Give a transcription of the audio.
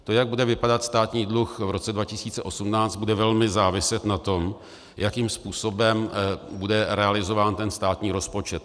To, jak bude vypadat státní dluh v roce 2018, bude velmi záviset na tom, jakým způsobem bude realizován ten státní rozpočet.